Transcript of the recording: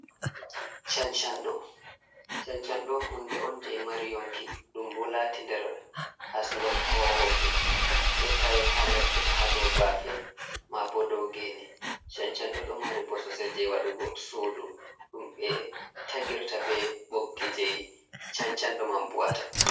Cancanɗo. Cancanɗo hunde on je mari yonki, ɗum bo laati nder asngol koowooje ɗo tawey ha ladde ha dow baafe ma bo dow ngeene. Cancanɗo do mari mbososel je waɗugo suudu ɗum ɓe tagirta be boggi jey cancanɗo man bu’ata.